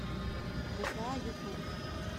гта ютуб